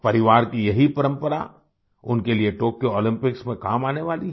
परिवार की यही परंपरा उनके लिए टोक्यो ओलम्पिक्स में काम आने वाली है